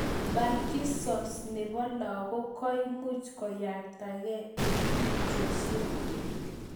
Parkinsons nepo lakok koimuch koyaotakei eng' tupchoshiek